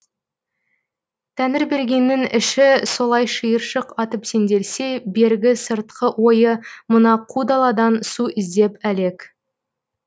тәңірбергеннің іші солай шиыршық атып сенделсе бергі сыртқы ойы мына қу даладан су іздеп әлек